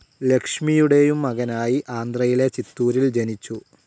ലക്ഷ്മിയുടെയും മകനായി ആന്ധ്രയിലെ ചിത്തൂരിൽ ജനിച്ചു.